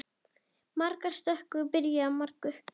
Margar stökur byrja á margur.